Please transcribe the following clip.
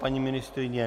Paní ministryně?